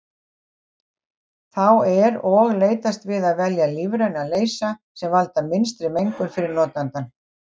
Þá er og leitast við að velja lífræna leysa sem valda minnstri mengun fyrir notandann.